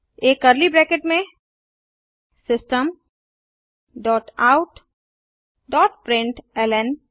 एक curly brackets में system dot out dot println